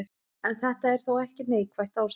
En þetta er þó ekki neikvætt ástand.